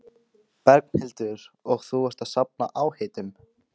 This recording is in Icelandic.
Berghildur: Og þú ert að safna áheitum?